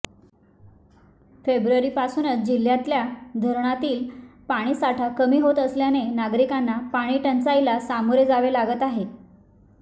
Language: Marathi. फेब्रुवारीपासूनच जिह्यातल्या धरणातील पाणीसाठा कमी होत असल्याने नागरिकांना पाणी टंचाईला सामोरे जावे लागत आहे